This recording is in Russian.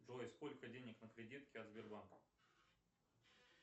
джой сколько денег на кредитке от сбербанка